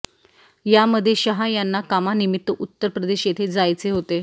यामध्ये शहा यांना कामानिमित्त उत्तर प्रदेश येथे जायचे होते